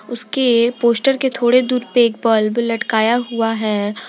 उसके पोस्टर के थोड़े दूर पे एक बल्ब लटकता हुआ है।